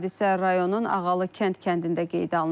Hadisə rayonun Ağalı kənd kəndində qeydə alınıb.